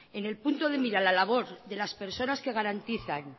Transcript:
en el punto de mira la labor de las personas que garantizan